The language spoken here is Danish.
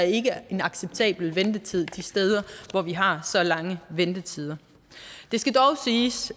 ikke er en acceptabel ventetid de steder hvor vi har så lange ventetider det skal dog siges